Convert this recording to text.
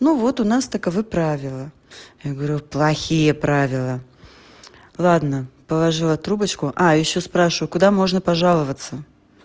ну вот у нас таковы правила я говорю плохие правила ладно положила трубочку а ещё спрашиваю куда можно пожаловаться